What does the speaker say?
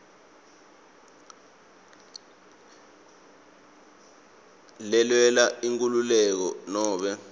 lelwela inkhululeko nobe